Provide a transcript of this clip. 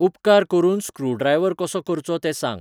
उपकार करून स्क्रूड्रायव्हर कसो करचो तें सांग ?